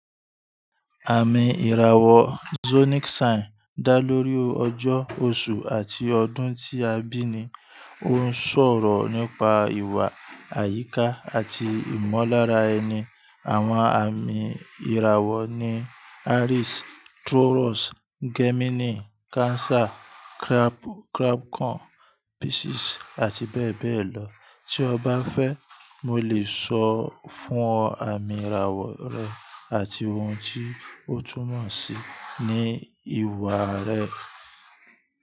Àmì ìràwọ̀ zodiac sign dá lórí ọjọ́, oṣù àti ọdún tí a bí ni. Ó ń sọ̀rọ̀ nípa ìwà, àyíká àti ìmọ̀lára ẹni. Àwọn àmì ìràwọ̀ ni Aries, Taurus, Gemini, Cancer, Leo, Virgo, Libra, Scorpio, Sagittarius, Capricorn, Aquarius àti Pisces. Bẹ́ẹ̀ bẹ́ẹ̀ lọ. Tí ọ bá fẹ́, mo lè sọ fún ọ àmì ìràwọ̀ rẹ àti ohun tí ó túnmọ̀ sí ní ìwà rẹ.